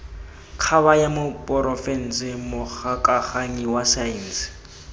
kgabanya porofense mogokaganyi wa saense